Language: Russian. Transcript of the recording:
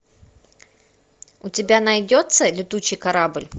у тебя найдется летучий корабль